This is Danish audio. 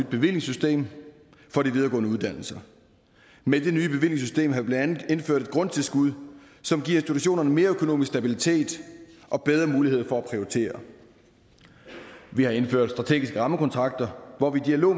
bevillingssystem for de videregående uddannelser med det nye bevillingssystem har vi blandt andet indført et grundtilskud som giver institutionerne mere økonomisk stabilitet og bedre muligheder for at prioritere vi har indført strategiske rammekontrakter hvor vi i dialog